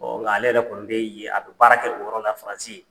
nka ale yɛrɛ kɔnni bɛ yen. A bɛ baara kɛ o yɔrɔ la faransi ye.